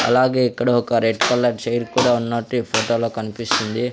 అలాగే ఇక్కడ ఒక రెడ్ కలర్ చైర్ కూడా ఉన్నట్టు ఈ ఫోటో లో కనిపిస్తుంది.